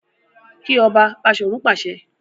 Ki ọba! Bashorun pàṣẹ.